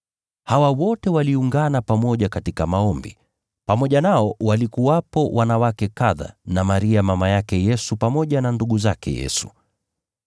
Hawa wote waliungana pamoja katika maombi. Pamoja nao walikuwepo wanawake kadha, na Maria mama yake Yesu, pamoja na ndugu zake Yesu.